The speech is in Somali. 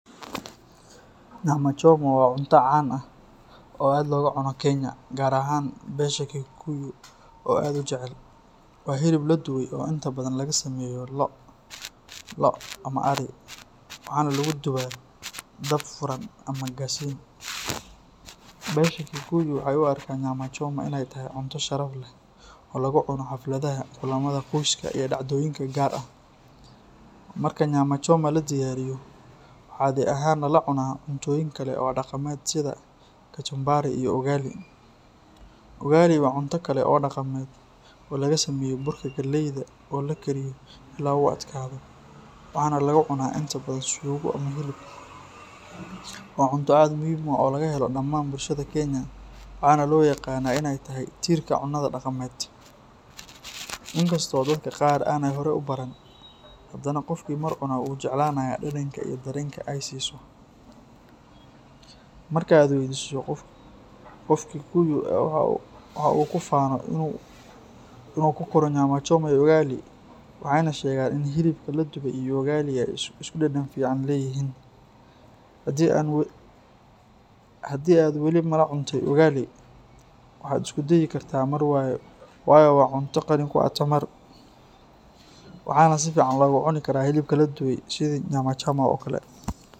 Nyama Choma waa cunto caan ah oo aad looga cuno Kenya, gaar ahaan beesha Kikuyu oo aad u jecel. Waa hilib la dubay oo inta badan laga sameeyo lo', ido ama arri, waxaana lagu dubaa dab furan ama gasiin. Beesha Kikuyu waxay u arkaan Nyama Choma in ay tahay cunto sharaf leh oo lagu cuno xafladaha, kulamada qoyska iyo dhacdooyinka gaar ah. Marka Nyama Choma la diyaariyo, waxaa caadi ahaan lala cunaa cuntooyin kale oo dhaqameed sida kachumbari iyo ugali. Ugali waa cunto kale oo dhaqameed oo laga sameeyo burka galeyda oo la kariyo ilaa uu adkaado, waxaana lagu cunaa inta badan suugo ama hilib. Waa cunto aad u muhiim ah oo laga helo dhamaan bulshada Kenya, waxaana loo yaqaanaa inay tahay tiirka cunnada dhaqameed. Inkastoo dadka qaar aanay horey u baran, haddana qofkii mar cuna wuu jeclaanayaa dhadhanka iyo dareenka ay siiso. Marka aad waydiiso qof Kikuyu ah waxa uu ku faano in uu ku koro Nyama Choma iyo Ugali, waxayna sheegaan in hilibka la dubay iyo ugali ay isku dhadhan fiican leeyihiin. Haddii aad weli malacuntay ugal i, waxaad isku dayi kartaa mar, waayo waa cunto qani ku ah tamar, waxaana si fiican loogu cuni karaa hilibka la dubay sida Nyama Choma oo kale.